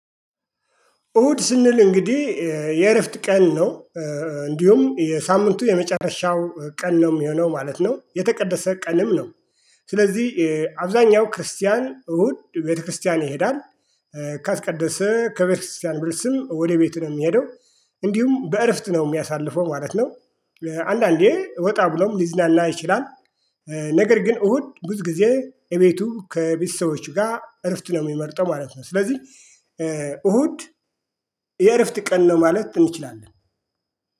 እሁድ ስንል እንግዲህ የእረፍት ቀን ነው። እንዲሁም የሳምንቱ የመጨረሻው ቀን ነው የሚሆነው ማለት ነው። የተቀደሰ ቀንም ነው። ስለዚህ አብዛኛው ክርስቲያን እሁድ ቤተክርስቲያን ይሄዳል። እሁድ ስንል እንግዲህ የእረፍት ቀን ነው። እንዲሁም የሳምንቱ የመጨረሻው ቀን ነው የሚሆነው ማለት ነው። የተቀደሰ ቀንም ነው። ስለዚህ አብዛኛው ክርስቲያን እሁድ ቤተክርስቲያን ይሄዳል። አንዳንዴ እወጣ ብሎም ሊዝናና ይችላል። ነገር ግን እሁድ ብዙ ጊዜ እቤቱ ከቤተሰቦቹ ጋር እረፍት ነው የሚመርጠው ማለት ነው። ስለዚህ እሁድ የእረፍት ቀን ነው ማለት እንችላለን።